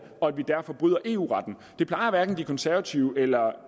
og vi derfor bryder eu retten hverken de konservative eller